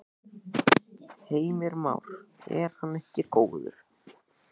Heimir Már: Er hann ekki góður?